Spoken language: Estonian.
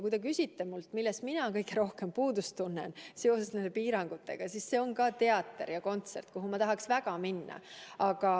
Kui te küsite minult, millest mina kõige rohkem puudust tunnen seoses nende piirangutega, siis see on ka teater ja kontsert, kuhu ma tahaksin väga minna.